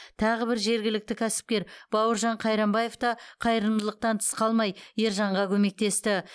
тағы бір жергілікті кәсіпкер бауыржан қайрамбаев та қайырымдылықтан тыс қалмай ержанға көмектесті